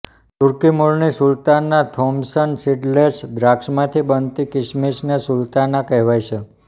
તુર્કી મૂળની સુલતાના Thompson seedless દ્રાક્ષમાંથી બનતી કિસમિસને સુલતાના કહેવાય છે